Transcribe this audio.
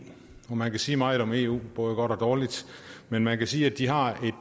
og man kan sige meget om eu både godt og dårligt men man kan sige at de har et